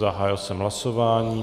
Zahájil jsem hlasování.